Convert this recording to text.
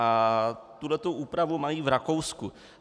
A tuhle úpravu mají v Rakousku.